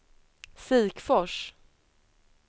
Sikfors